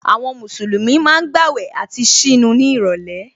Àwọn Mùsùlùmí ma ń gbàwẹ̀ àti ṣínu ní ìrọ̀lẹ́